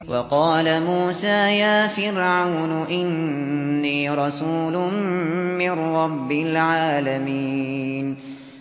وَقَالَ مُوسَىٰ يَا فِرْعَوْنُ إِنِّي رَسُولٌ مِّن رَّبِّ الْعَالَمِينَ